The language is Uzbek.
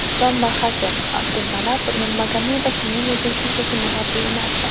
Islom Maxachev: Abdulmanap Nurmagomedov men uchun shunchaki murabbiy emasdi.